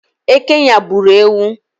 Eke nyagburu ewu